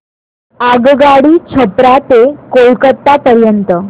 आगगाडी छपरा ते कोलकता पर्यंत